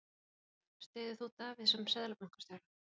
Spurt var, styður þú Davíð sem Seðlabankastjóra?